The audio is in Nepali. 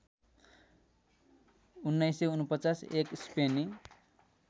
१९४९ एक स्पेनी